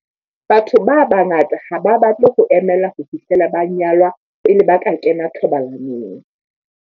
Batho ba bangata ha ba batle ho emela ho fihlela ba nyalwa pele ba kena thobalanong.